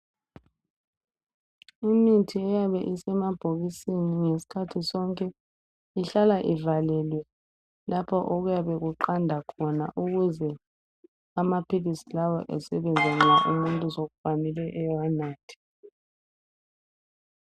Umuthi oyabe usemabhokisini ngeskhathi sonke ihlala ivalelwe lapha okuyabe kuqanda khona ukuze amaphilisi lawa esebenza nxa umuntu sekufanele ewanathe